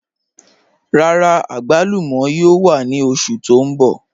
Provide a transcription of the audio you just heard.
Rárá, agbàlùmọ̀ yóò wà ni oṣù tó n bọ̀.